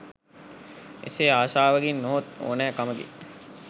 එසේ ආශාවකින් නොහොත් ඕනෑකමකින්